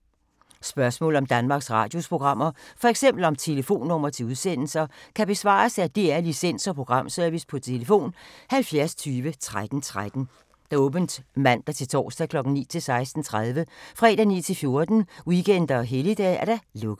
Spørgsmål om Danmarks Radios programmer, f.eks. om telefonnumre til udsendelser, kan besvares af DR Licens- og Programservice: tlf. 70 20 13 13, åbent mandag-torsdag 9.00-16.30, fredag 9.00-14.00, weekender og helligdage: lukket.